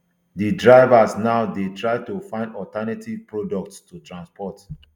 [di drivers] now dey try to find alternative products to transport